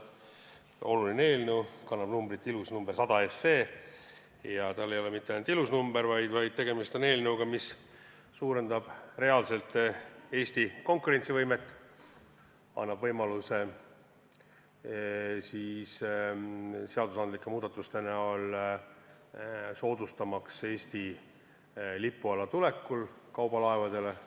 See oluline eelnõu kannab ilusat numbrit 100 ja sel ei ole mitte ainult ilus number, vaid tegemist on ka eelnõuga, mis suurendab reaalselt Eesti konkurentsivõimet, annab võimaluse seadusandlike muudatuste abil soodustada kaubalaevade tulekut Eesti lipu alla.